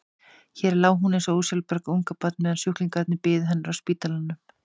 Hér lá hún eins og ósjálfbjarga ungbarn meðan sjúklingarnir biðu hennar á spítalanum.